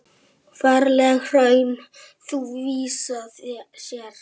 Ferlegt hraun þú víða sérð.